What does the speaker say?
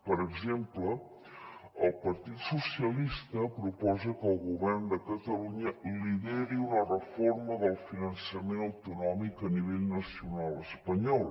per exemple el partit dels socialistes proposa que el govern de catalunya lideri una reforma del finançament autonòmic a nivell nacional espanyol